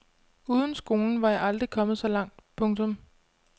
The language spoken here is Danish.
Uden skolen var jeg aldrig kommet så langt. punktum